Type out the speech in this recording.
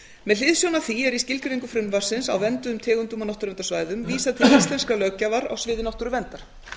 með hliðsjón af því er í skilgreiningu frumvarpsins á vernduðum tegundum og náttúruverndarsvæðum vísað til íslenskrar löggjafar á sviði náttúruverndar